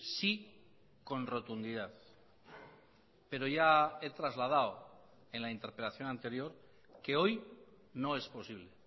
sí con rotundidad pero ya he trasladado en la interpelación anterior que hoy no es posible